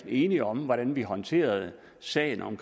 enige om hvordan vi skulle håndtere sagen om